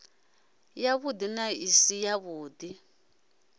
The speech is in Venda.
yavhuḓi na i si yavhuḓi